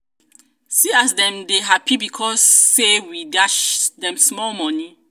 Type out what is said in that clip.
see as dem dey hapi because say we dash dem small moni.